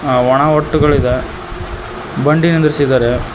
ಆ ಒಣ ಹೊಟ್ಟುಗಳಿದೆ ಬಂಡಿ ನಿಂದ್ರಿಸಿದಾರೆ.